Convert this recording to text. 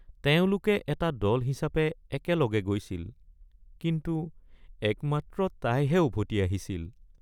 তেওঁলোকে এটা দল হিচাপে একেলগে গৈছিল কিন্তু একমাত্ৰ তাইহে উভতি আহিছিল।